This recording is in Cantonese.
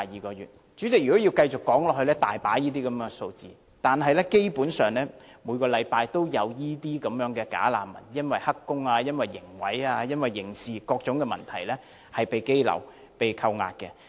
代理主席，若要繼續說下去，個案真是多不勝數，基本上每個星期均有這些"假難民"因為涉及"黑工"、刑毀、刑事罪行等各種問題而被羈留和扣押的新聞。